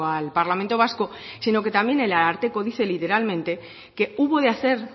al parlamento vasco sino que también el ararteko dice literalmente que hubo de hacer